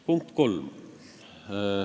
Punkt 3.